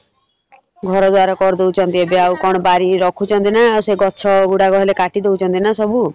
ଘର ଦ୍ୱାର କରିଦଉଛନ୍ତି ଏବେ ଆଉ କଣ ବାରି ରଖୁଛନ୍ତି ନା ସେ ଗଛ ଗୁଡା ହେଲେ କାଟିଦେଉଛନ୍ତି ନା ସବୁ ।